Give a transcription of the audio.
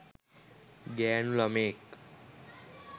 ගෑනු ළමයෙක්.